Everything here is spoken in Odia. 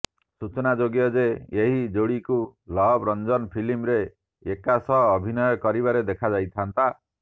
ସୂଚନାଯୋଗ୍ୟ ଯେ ଏହି ଯୋଡିକୁ ଲଭ ରଂଜନ ଫିଲ୍ମରେ ଏକା ସହ ଅଭିନୟ କରିବାରେ ଦେଖାଯାଇଥାନ୍ତା